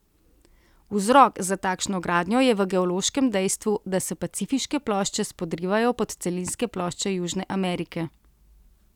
Vzrok za takšno gradnjo je v geološkem dejstvu, da se pacifiške plošče spodrivajo pod celinske plošče Južne Amerike.